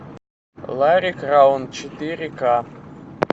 ларри краун четыре ка